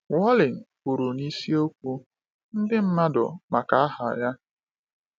Wallen kwuru n’isiokwu “Ndị Mmadụ Maka Aha Ya.”